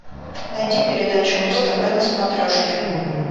найди передачу муз тв на смотрешке